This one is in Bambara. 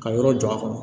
Ka yɔrɔ jɔ a kɔnɔ